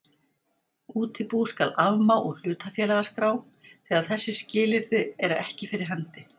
Útibú skal afmá úr hlutafélagaskrá þegar þessi skilyrði eru fyrir hendi